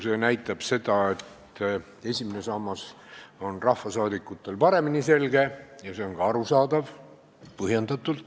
See näitab seda, et esimene sammas on rahvasaadikutel paremini selge, ja see on ka arusaadav.